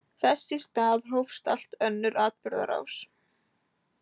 Þess í stað hófst allt önnur atburðarás.